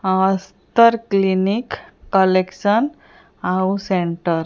Aster clinic collection ଆଉ centre.